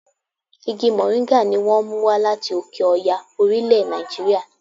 Igi mòríńgà ni wón mú wá láti òkè Ọya orílẹ̀ Nàìjíríà.